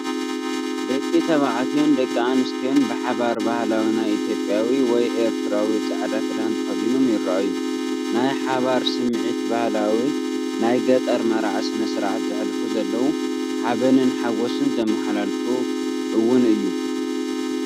ደቂ ተባዕትዮን ደቂ ኣንስትዮን ብሓባር ባህላዊ ናይ ኢትዮጵያዊ ወይ ኤርትራዊ ጻዕዳ ክዳን ተኸዲኖም ይረኣዩ። ናይ ሓባር ስምዒትን ባህላዊ ናይ ገጠር መርዓ ስነስርዓት ዘሕልፉ ዘለው፣ ሓበንን ሓጎስን ዘመሓላልፍ እውን እዩ።